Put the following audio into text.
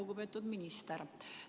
Lugupeetud minister!